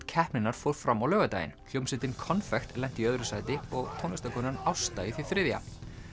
keppninnar fór fram á laugardaginn hljómsveitin konfekt lenti í öðru sæti og Ásta í því þriðja